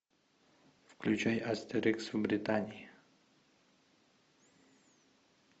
включай астерикс в британии